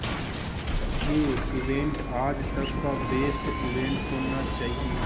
ये इवेंट आज तक का बेस्ट इवेंट होना चाहिए